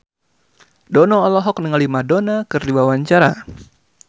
Dono olohok ningali Madonna keur diwawancara